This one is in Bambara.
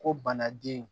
Ko banaden